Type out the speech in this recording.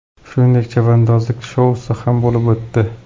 Shuningdek, chavandozlik shousi ham bo‘lib o‘tdi.